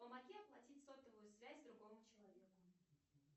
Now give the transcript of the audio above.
помоги оплатить сотовую связь другому человеку